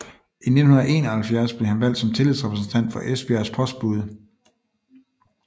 I 1971 blev han valgt som tillidsrepræsentant for Esbjergs postbude